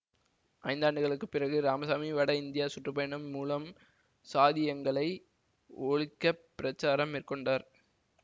ஐந்தாண்டுகளுக்குப் பிறகு இராமசாமி வடஇந்தியா சுற்று பயணம் மூலம் சாதியங்களை ஒழிக்கப் பிரச்சாரம் மேற்கொண்டார்